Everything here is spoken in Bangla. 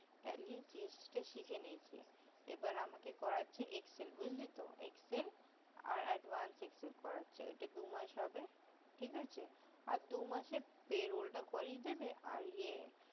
tally gst টা শিখে নিয়েছি এবার আমাকে করাচ্ছে excel বুজলি তো excel আর advance excel করাচ্ছে ওটা দুমাস হবে ঠিক আছে আর দু মাসে payroll টা আছে করিয়ে আর ইয়ে